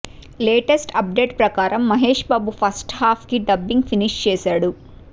latest update ప్రకారం Mahesh Babu first half కి dubbing finish చేసాడు